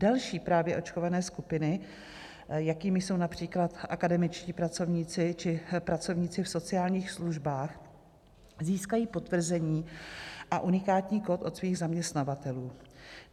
Další právě očkované skupiny, jakými jsou například akademičtí pracovníci či pracovníci v sociálních službách, získají potvrzení a unikátní kód od svých zaměstnavatelů.